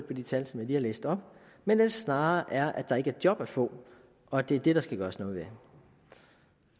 de tal som jeg lige har læst op men snarere er at der ikke er job at få og at det er det der skal gøres noget ved